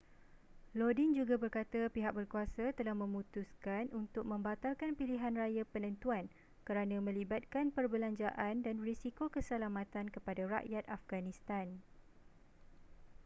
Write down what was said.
lodin juga berkata pihak berkuasa telah memutuskan untuk membatalkan pilihanraya penentuan kerana melibatkan perbelanjaan dan risiko keselamatan kepada rakyat afghanistan